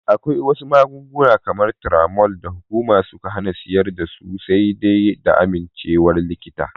Akwai wasu magunguna kamar Turamol da hukuma suka hana siyar dasu sai dai da amincewar likita.